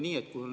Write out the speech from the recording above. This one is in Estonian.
Hea esimees!